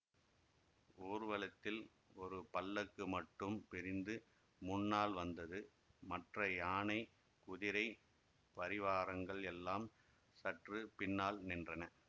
ஊர்வலத்தில் ஒரு பல்லக்கு மட்டும் பிரிந்து முன்னால் வந்தது மற்ற யானை குதிரை பரிவாரங்கள் எல்லாம் சற்று பின்னால் நின்றன